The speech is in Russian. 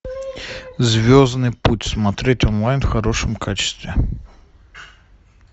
звездный путь смотреть онлайн в хорошем качестве